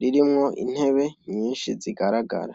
ririmwo intebe nyinshi zigaragara.